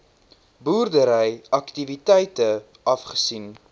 boerdery aktiwiteite afgesien